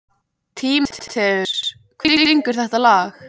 Tímoteus, hver syngur þetta lag?